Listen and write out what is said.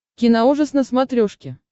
киноужас на смотрешке